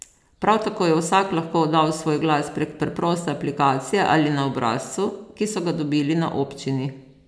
Prav tako je vsak lahko oddal svoj glas prek preproste aplikacije ali na obrazcu, ki so ga dobili na občini.